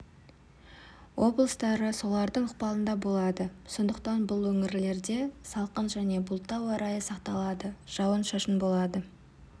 облыстары солардың ықпалында болады сондықтан бұл өңірлерде салқын және бұлтты ауа райы сақталады жауын-шашын болады